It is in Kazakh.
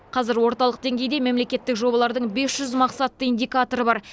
қазір орталық деңгейде мемлекеттік жобалардың бес жүз мақсатты индикаторы бар